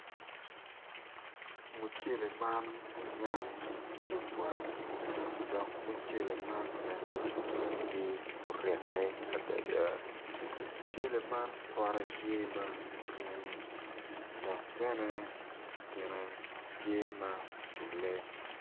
Mucele man onyak man tye bongi gomci ki latere ma kitweyo i kome med ki koti ma kiruku ki kanyu kacel dok bene kine tye ma oculle.